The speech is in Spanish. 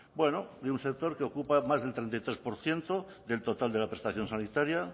bueno de un sector que ocupa más del treinta y tres por ciento del total de la prestación sanitaria